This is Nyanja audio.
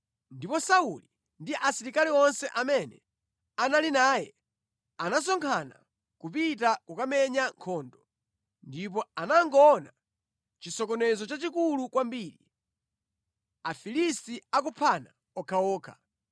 Ndipo Sauli ndi asilikali onse amene anali naye anasonkhana kupita kukamenya nkhondo, ndipo anangoona chisokonezo chachikulu kwambiri. Afilisti akuphana okhaokha.